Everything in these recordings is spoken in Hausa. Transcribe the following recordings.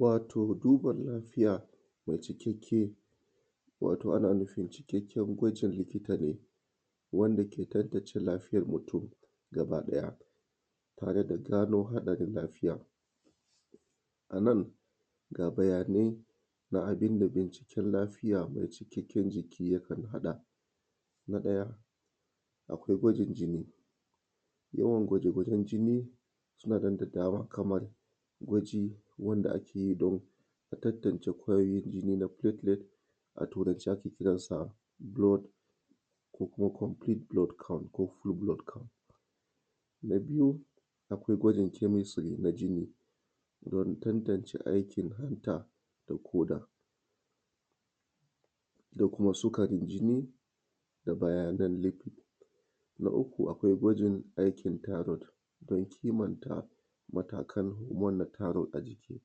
wato duba lafiya mai cikakke wato ana nufin cikakken gwajin likita ne wanda ke tantance lafiyar mutum gaba ɗaya tare da gano haɗarin lafiyar anan ga bayanai na abunda binciken lafiya mai cikakken jiki yakan haɗa na ɗaya akwai gwajin jini yawan gwaje-gwajen jini suna nan da dama kaman gwaji wanda akeyi domin tantance ƙwayoyin jini na platelet a turance ake kiran sa blood ko kuma complete blood count ko full blood count na biyu akwai gwajin jini screen na jini don tantance aikin hanta da ƙoda da kuma sukarin jini da bayanan lipid na uku akwai gwajin aikin thyroid don kimanta matakan na thyroid a jiki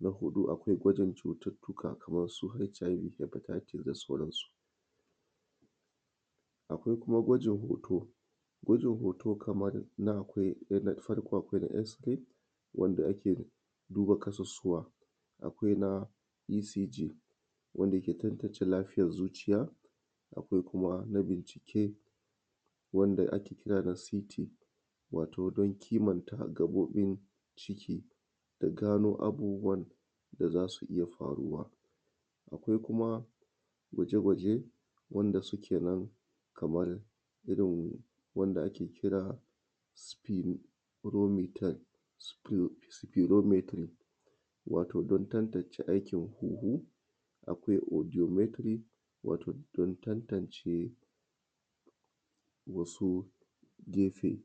na huɗu akwai gwajin cutar tuƙa kaman su HIV Hepatitis da sauran su akwai kuma gwajin hoto gwajin hoto kaman na akwai farko akwai na x-ray wanda ake duba ƙasusuwa akwai na ECG wanda ke tantance lafiyar zuciya akwai kuma na bincike wanda ake kira da CT wato don kimanta gaɓoɓin ciki da gano abubuwan da zasu iya faruwa akwai kuma gwaje-gwaje wanda suke nan kaman irin wanda ake kira spirometry wato don tantance aikin hun-hun akwai ediometry wato don tantance wasu gefe